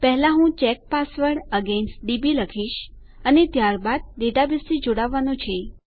પહેલા હું check password against DB લખીશ અને ત્યારબાદ ડેટાબેઝથી જોડાવવાનું છે